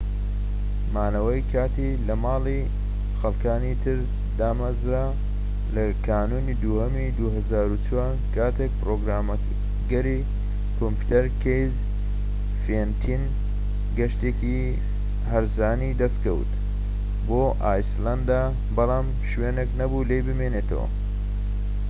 couchsurfing- مانەوەی کاتی لەماڵی خەڵکانی تر، دامەزرا لە کانونی دووهەمی ٢٠٠٤ دا کاتێك پڕۆگرامەری کۆمپیوتەر کەیسی فێنتن گەشتێکی هەرزانی دەستکەوت بۆ ئایسلەندە بەڵام شوێنێك نەبوو لێی بمێنێتەوە